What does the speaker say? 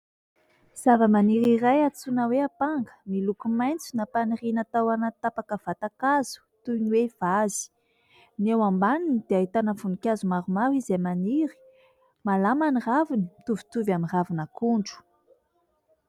Zavamaniry iray antsoina hoe apanga miloko maitso nampaniriana tao anaty tapaka vatankazo toy ny hoe vazy. Ny eo ambaniny dia ahitana voninkazo maromaro izay maniry, malama ny raviny mitovitovy amin'ny ravin'akondro.